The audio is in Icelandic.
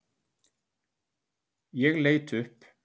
Ég leit upp.